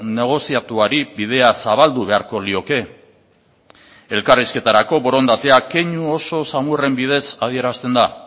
negoziatuari bidea zabaldu beharko lioke elkarrizketarako borondatea keinu oso samurren bidez adierazten da